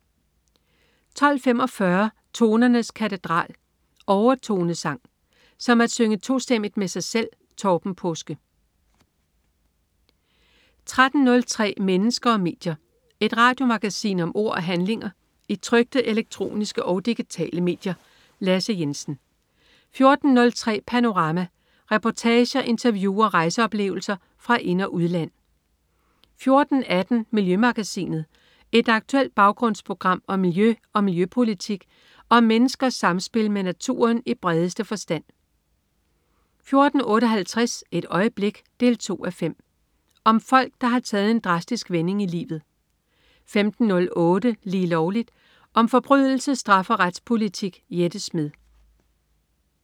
12.45 Tonernes katedral. Overtonesang. "Som at synge tostemmigt med sig selv". Torben Paaske 13.03 Mennesker og medier. Et radiomagasin om ord og handlinger i trykte, elektroniske og digitale medier. Lasse Jensen 14.03 Panorama. Reportager, interview og rejseoplevelser fra ind- og udland 14.18 Miljømagasinet. Et aktuelt baggrundsprogram om miljø og miljøpolitik og om menneskers samspil med naturen i bredeste forstand 14.58 Et øjeblik 2:5. Om folk, der har taget en drastisk vending i livet 15.08 Lige Lovligt. Om forbrydelse, straf og retspolitik. Jette Smed